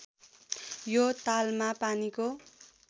यो तालमा पानीको